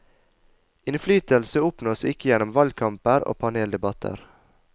Innflytelse oppnås ikke gjennom valgkamper og paneldebatter.